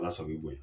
Ala sɔn b'i bonya